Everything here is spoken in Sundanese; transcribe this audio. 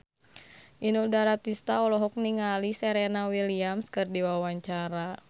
Inul Daratista olohok ningali Serena Williams keur diwawancara